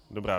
Dobrá.